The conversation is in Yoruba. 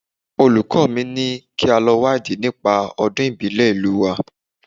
Olùkọ́ mi ni kí a lọ wádìí nípa Ọdún ìbílẹ̀ ìlú wa